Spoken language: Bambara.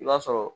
I b'a sɔrɔ